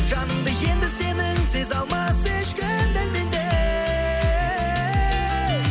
жаныңды енді сенің сезе алмас ешкім дәл мендей